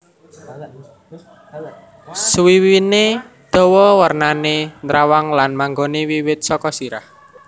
Suwiwiné dawa wernané nrawang lan manggoné wiwit saka sirah